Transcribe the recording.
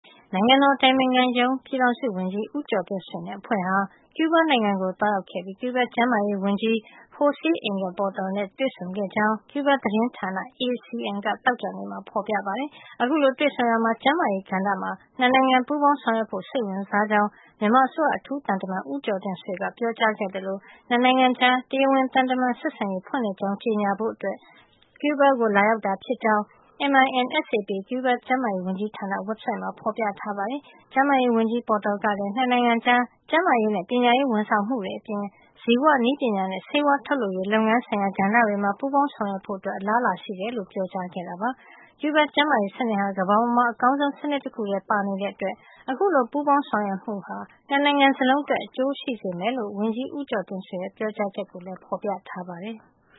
နိုင်ငံတော်အတိုင်ပင်ခံရုံး ပြည်ထောင်စုဝန်ကြီး ဦးကျော်တင့်ဆွေနဲ့ အဖွဲ့ဟာ ကျူးဘားနိုင်ငံကို သွားရောက်ခဲ့ပြီး ကျူးဘားကျန်းမာရေးဝန်ကြီး Jose Angel Portal နဲ့ တွေ့ဆုံခဲ့ကြောင်း ကျူးဘားသတင်းဌာန ACN က သောကြာနေ့မှာ ဖေါ်ပြပါတယ်။ အခုလို တွေ့ဆုံရာမှာ ကျန်းမာရေးကဏ္ဍမှာ ၂ နိုင်ငံ ပူးပေါင်းဆောင်ရွက်ဖို့ စိတ်ဝင်စားကြောင်း မြန်မာအစိုးရအထူးသံတမန် ဦးကျော်တင့်ဆွေက ပြောကြားခဲ့သလို ၂ နိုင်ငံကြား တရားဝင် သံတမန်ဆက်ဆံရေး ဖွင့်လှစ်ကြောင်း ကြေညာဖို့ ကျူးဘားကို လာရောက်တာ ဖြစ်ကြောင်း MINSAP ကျူးဘားကျန်းမာရေးဝန်ကြီးဌာနရဲ့ ဝက်ဘ်ဆိုက်မှာ ဖေါ်ပြထားတာပါ။ ကျန်းမာရေးဝန်ကြီး Portal ကလည်း ၂ နိုင်ငံကြား ကျန်းမာရေးနဲ့ ပညာရေးဝန်ဆောင်မှုတွေအပြင် ဇီဝနည်းပညာနဲ့ ဆေးဝါးထုတ်လုပ်ရေး လုပ်ငန်းဆိုင်ရာ ကဏ္ဍတွေမှာပါ ပူးပေါင်းဆောင်ရွက်ဖို့ အလားအလာရှိတယ်လို့လည်း ပြောခဲ့ပါတယ်။ ကျူးဘားကျန်းမာရေးစနစ်ဟာ ကမ္ဘာပေါ်မှာ အကောင်းဆုံး စနစ် တခုထဲမှာ ပါဝင်နေတဲ့အတွက် အခုလို ပူးပေါင်းဆောင်ရွက်မှုဟာ ၂ နိုင်ငံ စလုံးအတွက် အကျိုးရှိစေမယ်လို့ ဝန်ကြီး ဦးကျော်တင့်ဆွေရဲ့ ပြောကြားချက်ကိုလည် ဖေါ်ပြထားပါတယ်။